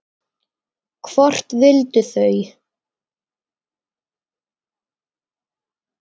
Hvort vildu þau?